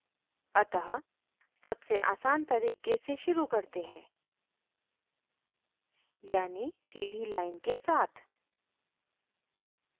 अतः सबसे आसान तरीके से शुरू करते हैं यानी सीधी line के साथ